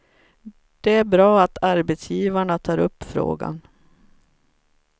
Det är bra att arbetsgivarna tar upp frågan.